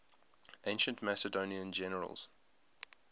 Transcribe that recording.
ancient macedonian generals